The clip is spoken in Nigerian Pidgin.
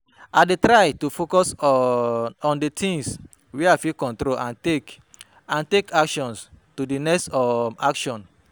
I dey try to focus um on di things wey i fit control and take and take actions to di next um action.